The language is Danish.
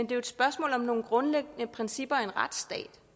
det er et spørgsmål om nogle grundlæggende principper i en retsstat